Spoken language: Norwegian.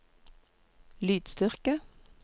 lydstyrke